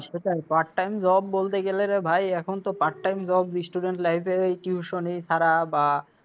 সেটাই, part time job বলতে গেলে রে ভাই, এখন তো part time job student life -এ ওই tuition ছাড়া বা